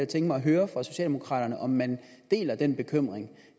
tænke mig at høre fra socialdemokraterne om man deler den bekymring